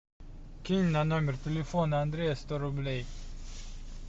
кинь на номер телефона андрея сто рублей